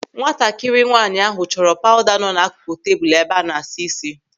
Nwatakịrị nwaanyị ahụ chọrọ pawụda nọ n'akụkụ tebụl ebe a na-asa isi.